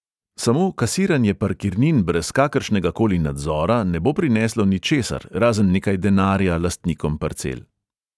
Samo kasiranje parkirnin brez kakršnegakoli nadzora ne bo prineslo ničesar razen nekaj denarja lastnikom parcel.